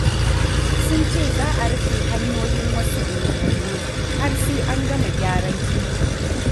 Sun ce za a rufe hanyoyin wasu unguwanni har sai an gama gyaran titi.